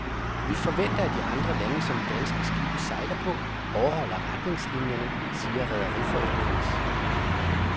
Vi forventer, at de andre lande, som danske skibe sejler på, overholder retningslinierne, siger rederiforeningens